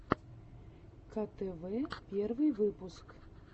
ктв первый выпуск